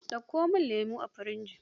Ɗauko min lemo a firji.